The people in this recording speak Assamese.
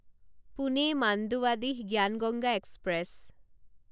পোনে মাণ্ডুৱাডিহ জ্ঞান গংগা এক্সপ্ৰেছ